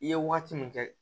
I ye waati min kɛ